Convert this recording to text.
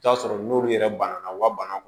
I bi t'a sɔrɔ n'olu yɛrɛ banana u ka bana kun